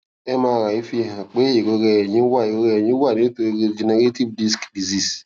mri fihan pe irora ẹyin wa ẹyin wa nitori degenerative disc disease